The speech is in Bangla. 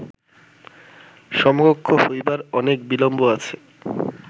সমকক্ষ হইবার অনেক বিলম্ব আছে